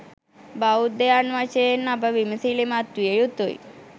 බෞද්ධයන් වශයෙන් අප විමසිලිමත් විය යුතුයි.